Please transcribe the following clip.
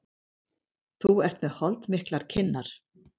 Þú ert með holdmiklar kinnar.